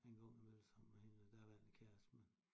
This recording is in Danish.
En gang imellem sammen med hendes daværende kæreste med